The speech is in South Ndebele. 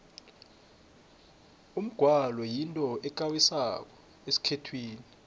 umgwalo yinto ekarisako esikhethwini